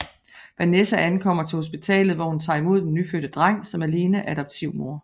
Vanessa ankommer til hospitalet hvor hun tager imod den nyfødte dreng som alene adoptivmor